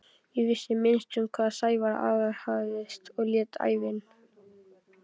Ég vissi minnst um hvað Sævar aðhafðist og lét ævin